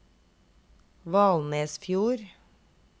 Valnesfjord